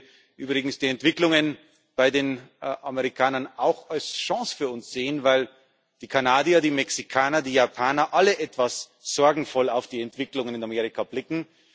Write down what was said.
Ich würde übrigens die Entwicklungen bei den Amerikanern auch als Chance für uns sehen, weil die Kanadier, die Mexikaner, die Japaner alle etwas sorgenvoll auf die Entwicklungen in Amerika blicken.